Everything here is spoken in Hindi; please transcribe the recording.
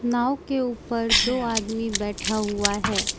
नाव के ऊपर दो आदमी बैठा हुआ है।